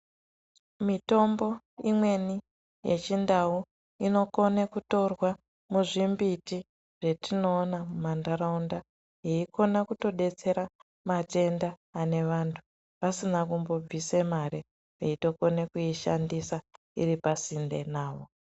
Mitombo imweni yeChindau inokone kutorwa muzvimbiti zvetioona mumantaraunda yeikona kutodetsera matenda ane vantu, vasina kumbobvise mare, veitokone kuishandisa iri pasinde navo.